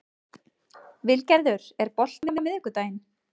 Vilgerður, er bolti á miðvikudaginn?